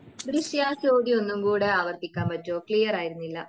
ദൃശ്യാ ആ ചോദ്യം ഒന്നുകൂടെ ആവർത്തിക്കാൻ പറ്റോ? ക്ലിയർ ആയിരുന്നില്ല